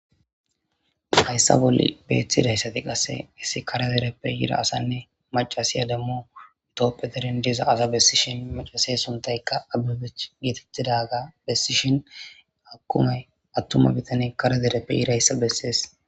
hayssa bolli beeththidayssati qasse issi karadereppe yira asanne macasiya dammu itoppetedin diza asa bessishin macase suntaykka abebe geetettidaga bessishin hakumay attuma bitane karadereppe irayssa bessees